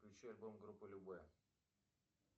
включи альбом группы любэ